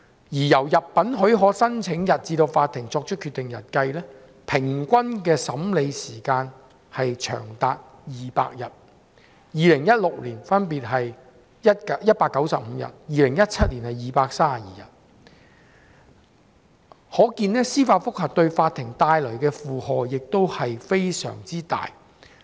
由入稟許可申請日至法庭作出決定日的平均審理時間長達200日，分別是2016年的195日及2017年的232日，可見司法覆核為法庭帶來沉重的負荷。